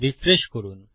refresh করুন